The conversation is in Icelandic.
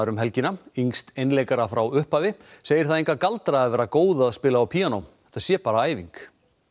helgina yngsti einleikara frá upphafi segir það enga galdra að vera góð að spila á píanó það sé bara æfing